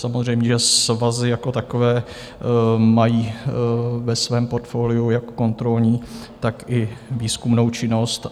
Samozřejmě svazy jako takové mají ve svém portfoliu jak kontrolní, tak i výzkumnou činnost.